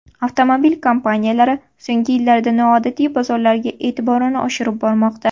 Avtomobil kompaniyalari so‘nggi yillarda noodatiy bozorlarga e’tiborini oshirib bormoqda.